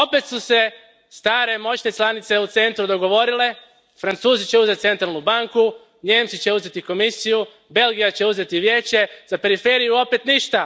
Opet su se stare moćne članice u centru dogovorile Francuzi će uzeti Centralnu banku, Nijemci će uzeti Komisiju, Belgija će uzeti Vijeće, za periferiju opet ništa!